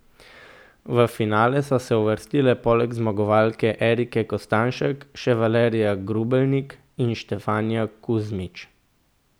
V finale so se uvrstile poleg zmagovalke Erike Kostanjšek še Valerija Grubelnik in Štefanija Kuzmič.